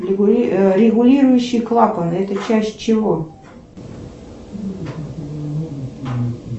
регулирующий клапан это часть чего